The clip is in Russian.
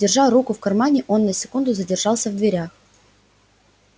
держа руку в кармане он на секунду задержался в дверях